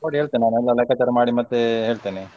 ನೋಡಿ ಹೇಳ್ತೇನೆ ನಾನು ಒಮ್ಮೆ ಎಲ್ಲ ಲೆಕ್ಕಾಚಾರ ಮಾಡಿ ಮತ್ತೆ ಹೇಳ್ತೇನೆ.